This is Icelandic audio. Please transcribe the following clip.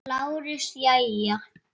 LÁRUS: Jæja!